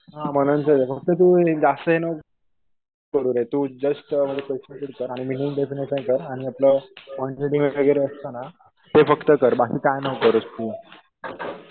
हा मननचंच आहे. फक्त तू जास्त हे नको करू रे. तू जस्ट रीड कर आणि मी लिहून देतो ते कर आणि आपलं कॉन्ट्रडी वगैरे असतं ना ते फक्त कर. बाकी काय नको करूस तू.